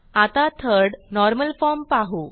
आता third normal form पाहू